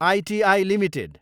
इति एलटिडी